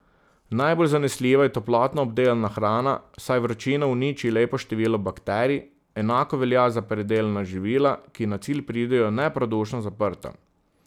Najbolj zanesljiva je toplotno obdelana hrana, saj vročina uniči lepo število bakterij, enako velja za predelana živila, ki na cilj pridejo neprodušno zaprta.